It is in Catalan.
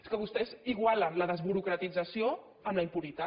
és que vostès igualen la desburocratització amb la impunitat